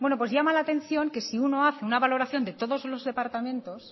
pues bueno llama la atención que si uno hace una valoración de todos los departamentos